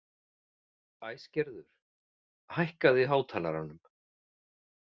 Æsgerður, hækkaðu í hátalaranum.